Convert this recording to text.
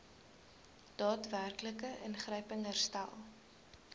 daadwerklike ingryping herstel